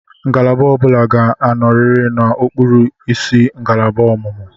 Ngalaba ọ bụla ga-anọrịrị n'okpuru isi ngalaba ọmụmụ.